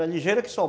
ligeira que só.